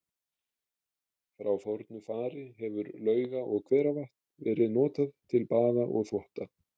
Frá fornu fari hefur lauga- og hveravatn verið notað til baða og þvotta.